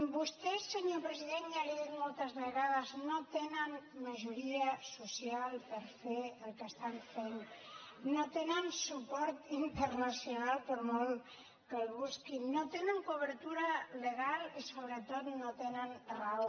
vostès senyor president ja li ho he dit moltes vegades no tenen majoria social per fer el que estan fent no tenen suport internacional per molt que el busquin no tenen cobertura legal i sobretot no tenen raó